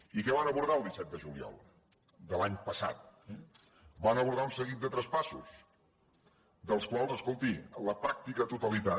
i què van abordar el disset de juliol de l’any passat van abordar un seguit de traspassos dels quals escolti la pràctica totalitat